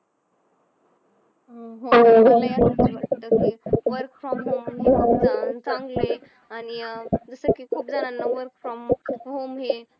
work from home चांगलंय आणि अं दुसऱ्या वर्षी खूप जणांना work from home हे